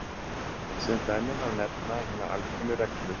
Sem dæmi má nefna hina alkunnu reglu